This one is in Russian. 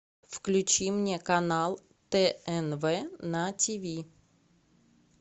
включи мне канал тнв на тиви